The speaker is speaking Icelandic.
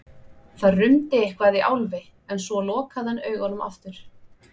Það rumdi eitthvað í Álfi en svo lokaði hann augunum aftur.